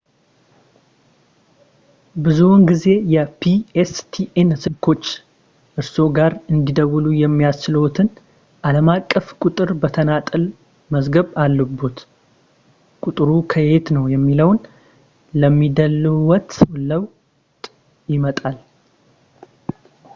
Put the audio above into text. ብዙውን ጊዜ የ pstn ስልኮች እርስዎ ጋር እንዲደውሉ የሚያስችልዎትን ዓለም አቀፍ ቁጥር በተናጠል መግዛት አለብዎት ቁጥሩ ከየት ነው የሚለውን ለሚደውሉዎት ሰው ለውጥ ያመጣል